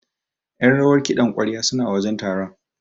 Ƴan rawar kiɗan ƙwarya suna wajen taron.